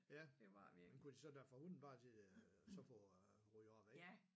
Ja men kunne de så da forhulen bare se og så få ryddet op væk